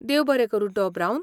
देव बरें करूं, डॉ. ब्रावन.